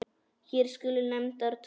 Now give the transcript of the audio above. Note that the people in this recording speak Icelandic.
Hér skulu nefndar tvær.